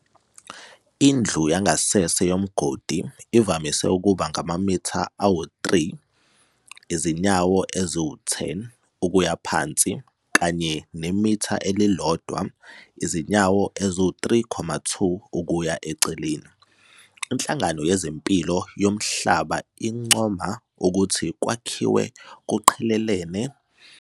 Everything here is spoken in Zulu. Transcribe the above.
Indlu yangasese yomgodi ivamise ukuba ngamamitha ama-3, izinyawo ezi-10, ukuya phansi kanaye nemitha eli-1, izinyawo ezi-3.2, ukuya eceleni. INhlangano yezempilo yomhlaba incoma ukuthi kwakhiwe kuqhelelane nomuzi ukuze kungatholakali amagciwane ahogelwayo.